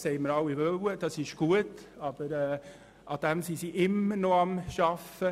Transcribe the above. Das haben wir ja alle so gewollt, und das ist gut, aber sie arbeiten immer noch daran.